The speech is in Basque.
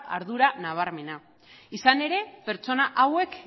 ardura nabarmena izan ere pertsona hauek